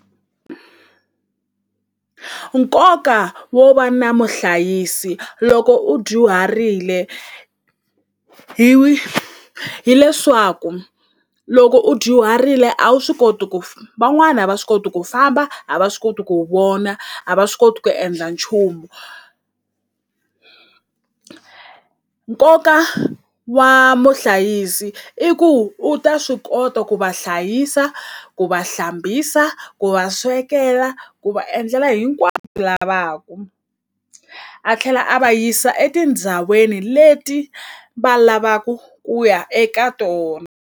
Nkoka wo va na muhlayisi loko u dyuharile hi hileswaku loko u dyuharile a wu swi koti ku van'wana a va swi koti ku famba a va swi koti ku vona a va swi koti ku endla nchumu nkoka wa muhlayisi i ku u ta swi kota ku va hlayisa ku va hlambisa ku va swekela ku va endlela lavaku a tlhela a va yisa etindhawini leti va lavaku ku ya eka .